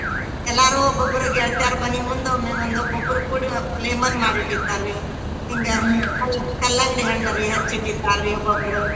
ಎಲ್ಲರೂ ಒಬ್ಬೊಬ್ರು ಗೇಳ್ತ್ಯಾರ ಮನಿ ಮುಂಡ ಒಮ್ಮೆ ಒಂದ್ ಒಬ್ಬೊಬ್ರು ಕೂಡಿ lemon ಮಾಡಿಟ್ಟಿರ್ತಾರ್ ರಿ ಕಲ್ಲಂಗಡಿ ಹಣ್ಣರಿ ಹೆಚ್ಚಿಟ್ಟಿರ್ತಾರ್ರಿ ಒಬ್ಬೊಬ್ರು.